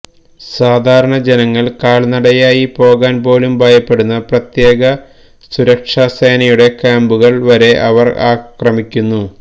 സാധാരണ ജനങ്ങള് കാല്നടയായി പോകാന് പോലും ഭയപ്പെടുന്ന പ്രത്യേക സുരക്ഷാസേനയുടെ ക്യാമ്പുകള് വരെ അവര് ആക്രമിക്കുന്നു